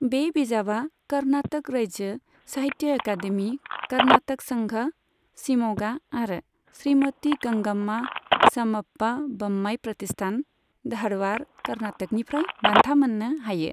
बे बिजाबआ कर्नाटक रायजो साहित्य एकादेमी, कर्नाटक संघ, शिम'गा आरो श्रीमती गंगाम्मा स'मप्पा ब'म्माइ प्रतिष्ठान, धारवाड़, कर्नाटकनिफ्राय बान्था मोननो हायो।